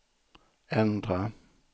ändra